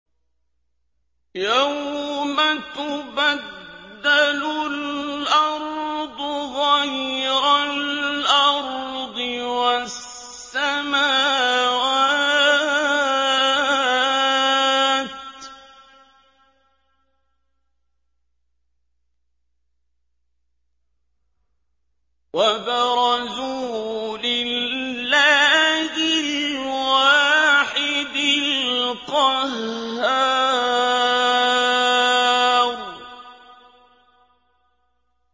يَوْمَ تُبَدَّلُ الْأَرْضُ غَيْرَ الْأَرْضِ وَالسَّمَاوَاتُ ۖ وَبَرَزُوا لِلَّهِ الْوَاحِدِ الْقَهَّارِ